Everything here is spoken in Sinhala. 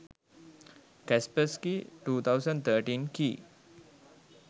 kaspersky 2013 key